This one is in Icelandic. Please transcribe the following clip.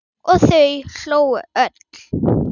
Og þau hlógu öll.